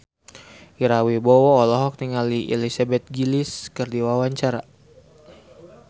Ira Wibowo olohok ningali Elizabeth Gillies keur diwawancara